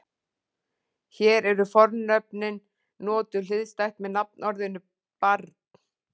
Hér eru fornöfnin notuð hliðstætt með nafnorðinu barn.